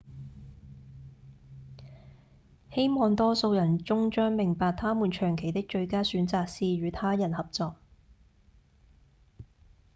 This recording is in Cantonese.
希望多數人終將明白他們長期的最佳選擇是與他人合作